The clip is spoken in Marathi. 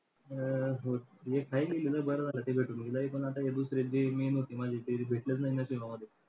हा. एक नाही लिहिली ना बरं झालं ते लय पण आता या दुसऱ्यांची होती माझी कधी भेटलंच नाही नशिबामध्ये.